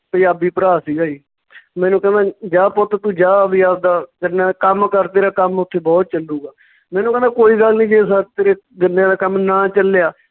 ਪੰਜਾਬੀ ਭਰਾ ਸੀਗਾ ਜੀ ਮੈਨੂੰ ਕਹਿੰਦਾ ਜੀ ਜਾ ਪੁੱਤ ਤੂੰ ਜਾ ਵੀ ਆਵਦਾ ਗੰਨਾ ਕੰਮ ਕਰ ਤੇਰਾ ਕੰਮ ਉੱਥੇ ਬਹੁਤ ਚੱਲੂਗਾ ਮੈਨੂੰ ਕਹਿੰਦਾ ਕੋਈ ਗੱਲ ਨੀਂ ਜੇ ਤੇਰੇ ਗੰਨਿਆਂ ਦਾ ਕੰਮ ਨਾ ਚੱਲਿਆ